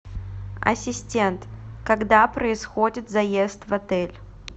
ассистент когда происходит заезд в отель